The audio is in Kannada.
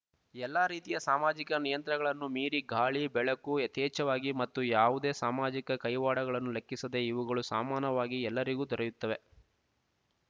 ಎಲ್ಲಾ ರೀತಿಯ ಸಾಮಾಜಿಕ ನಿಯಂತ್ರಣಗಳನ್ನೂ ಮೀರಿ ಗಾಳಿ ಬೆಳಕು ಯಥೇಚ್ಛವಾಗಿ ಮತ್ತು ಯಾವುದೇ ಸಾಮಾಜಿಕ ಕೈವಾಡಗಳನ್ನು ಲೆಕ್ಕಿಸದೆ ಇವುಗಳು ಸಮಾನವಾಗಿ ಎಲ್ಲರಿಗೂ ದೊರೆಯತ್ತವೆ